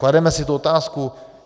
Klademe si tu otázku?